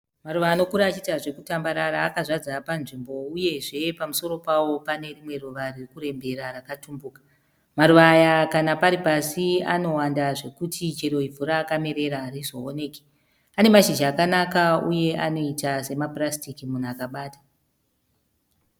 maruva akura achita zvekutandarara akazadza panzvimbo uyezvepamusoro pawo panerimwe ruva riri kuremberera rakatumbuka. Maruva aya kana paripasi anoita zveku anowandazvekuti chero ivhu rirpasi pasi paro ariwoneki. Anemashizha akanaka anoita senge ma purastiki munhu akababata.